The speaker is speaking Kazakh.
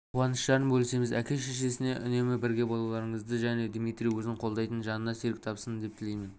қуаныштарын бөлісеміз әке-шешесіне үнемі бірге болуларыңызды және дмитрий өзін қолдайтын жанына серік тапсын деп тілеймін